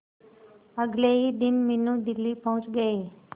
अगले ही दिन मीनू दिल्ली पहुंच गए